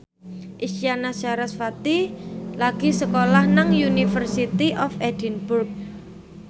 Isyana Sarasvati lagi sekolah nang University of Edinburgh